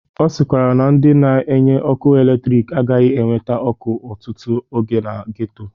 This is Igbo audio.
Ọ sịkwara na ndị na-enye ọkụ eletrik agahi na-ewete ọkụ ọtụtụ oge na geto.